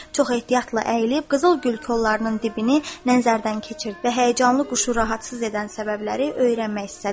Çox ehtiyatla əyilib, qızıl gül kollarının dibini nəzərdən keçirdi və həyəcanlı quşu rahatsız edən səbəbləri öyrənmək istədi.